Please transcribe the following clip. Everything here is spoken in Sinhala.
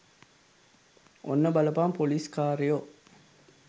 ඔන්න බලපන් පොලිස් කාරයෝ